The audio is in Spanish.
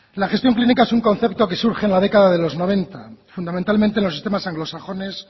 la gestión clínica es un concepto que surge en la década de los noventa fundamentalmente en los sistemas anglosajones